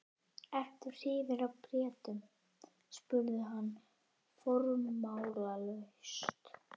Ertu hrifinn af Bretum? spurði hann formálalaust.